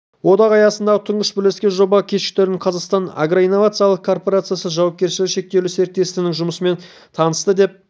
одағы аясындағы тұңғыш бірлескен жоба көкшетаудағы қазақстанның агроинновациялық корпорациясы жауапкершілігі шектеулі серіктестігінің жұмысымен танысты деп